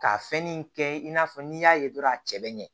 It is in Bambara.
K'a fɛnnin in kɛ i n'a fɔ n'i y'a ye dɔrɔn a cɛ bɛ ɲɛ